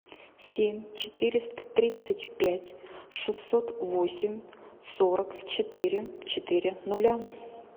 семь четыреста тридцать пять шестьсот восемь сорок четыре четыре нуля